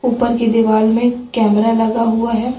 ऊपर की दीवाल में कैमरा लगा हुआ है।